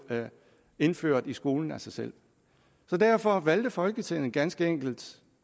indført i skolen af sig selv så derfor valgte folketinget ganske enkelt